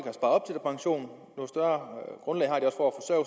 to